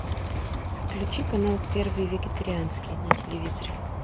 включи канал первый вегетарианский на телевизоре